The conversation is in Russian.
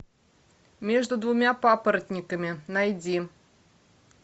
между двумя папоротниками найди